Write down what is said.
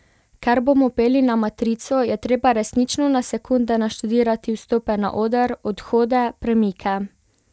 Ker bomo peli na matrico, je treba resnično na sekunde naštudirati vstope na oder, odhode, premike.